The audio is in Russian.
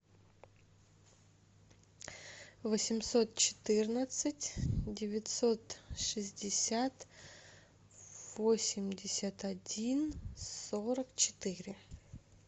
восемьсот четырнадцать девятьсот шестьдесят восемьдесят один сорок четыре